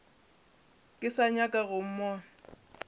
ke sa nyaka go mmona